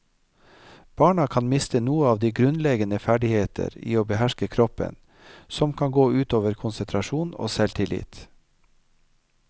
Barna kan miste noe av de grunnleggende ferdigheter i å behersker kroppen, som kan gå utover konsentrasjon og selvtillit.